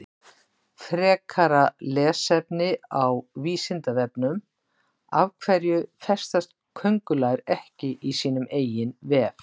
Frekara lesefni á Vísindavefnum Af hverju festast köngulær ekki í sínum eigin vef?